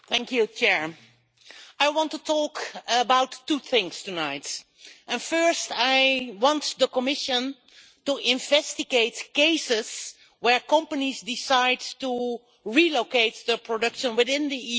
Mr President, I want to talk about two things tonight. First, I want the Commission to investigate cases where companies decide to relocate their production within the EU.